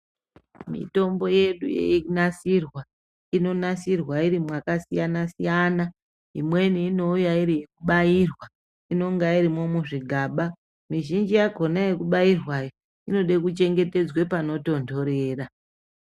Mitombo yedu yei nasirwa ino nasirwa iri mwaka siyana siyana imweni inouya iri yeku bairwa inonga irimwo mu zvigaba mizhinji yakona yeku bairwa iyi inoda kuchengetedzwa pano tondorera.